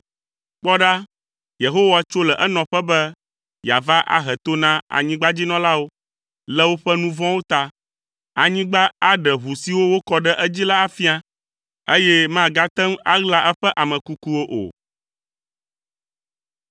Kpɔ ɖa, Yehowa tso le enɔƒe be yeava ahe to na anyigbadzinɔlawo le woƒe nu vɔ̃wo ta. Anyigba aɖe ʋu siwo wokɔ ɖe edzi la afia, eye magate ŋu aɣla eƒe ame kukuwo o.